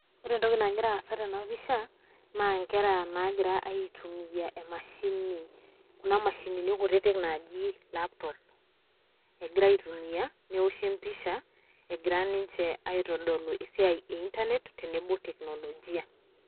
Ore entoki nagira aasa tena pisha naa nkera naagira aitumia emashini kuna mashinini kutitik naaji laptop. Egira aitumia newoshi empisha egira ninje aitodolu esiai e intanet tenebo teknolojia.